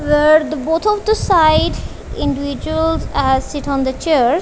where the both of the side individuals are sit on the chairs.